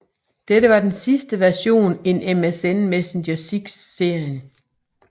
Dette var den sidste version in MSN Messenger 6 serien